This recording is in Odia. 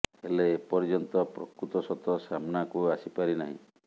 ହେଲେ ଏପର୍ଯ୍ୟନ୍ତ ପ୍ରକୃତ ସତ ସାମ୍ନାକୁ ଆସି ପାରି ନାହିଁ